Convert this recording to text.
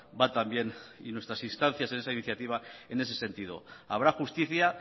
va también y nuestras instancias en esa iniciativa en ese sentido habrá justicia